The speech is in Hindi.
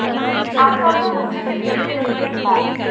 आमतौर पर मुख्य के बीच के रिश्ते की बात